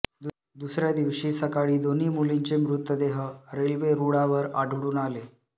दुसऱ्या दिवशी सकाळी दोन्ही मुलींचे मृतदेह रेल्वे रूळावर आढळून आले